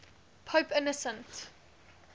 pope innocent